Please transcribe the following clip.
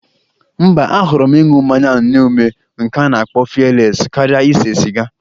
Mba, ahọrọ m ịnụ mmanya n'nye ume nke a na-akpo fiyeles karịa ise siga.